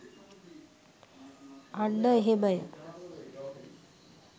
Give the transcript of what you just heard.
අන්න එහෙමය.